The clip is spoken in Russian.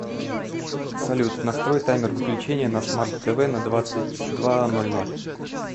салют настрой таймер выключения на смарт тв на двадцать два ноль ноль